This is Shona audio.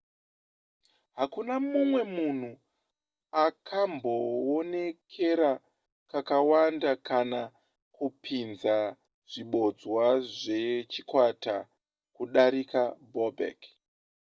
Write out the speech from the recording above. hakuna mumwe munhu akambowonekera kakawanda kana kupinza zvibodzwa zvechikwata kudarika bobek